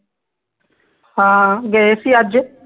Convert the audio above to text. ਹਾਂ ਗਏ ਸੀ ਅੱਜ